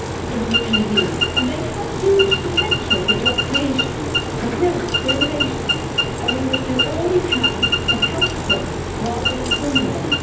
in the EU and they have huge potential for job creation, for growth and for innovation, and we must do all we can to help them rather than hinder them.